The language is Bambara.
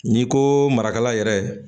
N'i ko marakala yɛrɛ